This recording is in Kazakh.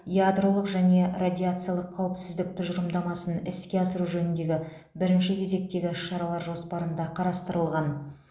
ядролық және радиациялық қауіпсіздік тұжырымдамасын іске асыру жөніндегі бірінші кезектегі іс шаралар жоспарында қарастырылған